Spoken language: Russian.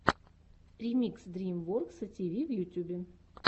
ремикс дрим воркса ти ви в ютьюбе